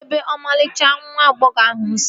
Kedụ ebe ọmarịcha nwa agbọghọ ahụ si?